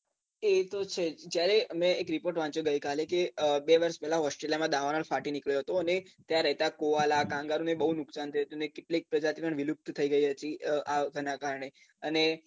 એ તો છે જ જયારે મેં એક report વાંચ્યો ગઈ કાલે કે બે વર્ષ પેલાં ઓસ્ટ્રેલીયામાં દાવાનળ ફાટી નીકળ્યો હતો અને ત્યાં રેહતા કુવાલા કાંગારું ને બૌ નુકશાન થયું હતું ને કેટલી પ્રજાતિ વિલુપ્ત થઇ ગઈ હતી આના કારણે અને